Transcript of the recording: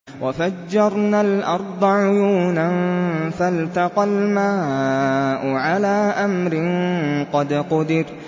وَفَجَّرْنَا الْأَرْضَ عُيُونًا فَالْتَقَى الْمَاءُ عَلَىٰ أَمْرٍ قَدْ قُدِرَ